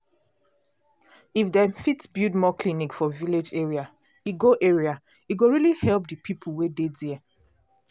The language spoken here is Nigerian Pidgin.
if dem fit build more clinic for village area e go area e go really help the people wey dey there.